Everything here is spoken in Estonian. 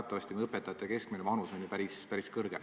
Teatavasti on õpetajate keskmine vanus ju päris kõrge.